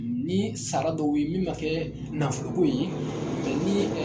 Ni sara dɔw ye min man kɛ nafolo ko ye ni